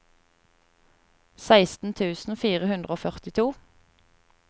seksten tusen fire hundre og førtito